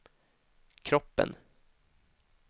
kroppen